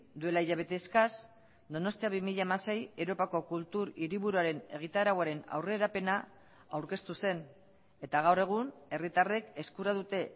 duela hilabete eskas donostia bi mila hamasei europako kultur hiriburuaren egitarauaren aurrerapena aurkeztu zen eta gaur egun herritarrek eskura dute